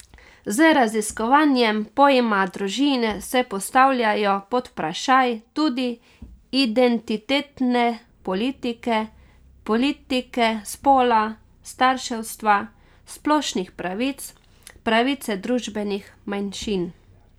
Z raziskovanjem pojma družine se postavljajo pod vprašaj tudi identitetne politike, politike spola, starševstva, splošnih pravic, pravice družbenih manjšin.